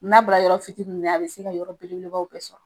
N'a bɔra yɔrɔ fitininw na, a be se ka yɔrɔ belebelebaw bɛɛ sɔrɔ.